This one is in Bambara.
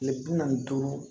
Kile bi naani ni duuru